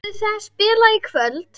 Verður það spilað í kvöld?